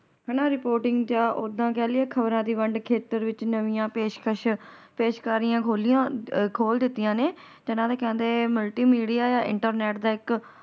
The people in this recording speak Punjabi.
ਹੈਨਾ Reporting ਚ ਓਹਦਾ ਕਹਿ ਲੀਯੇ ਖ਼ਬਰਾਂ ਦੀ ਵੰਡ ਖੇਤਰ ਵਿਚ ਨਵਿਆਂ ਪੇਸ਼ਕਸ਼ ਪੇਸ਼ਕਾਰੀਆਂ ਖੋਲਿਆ ਖੋਲ ਦਿੱਤੀਆਂ ਨੇ ਨਾਲੇ ਕਹਿੰਦੇ Multimedia Internet ਦਾ ਇਕ ।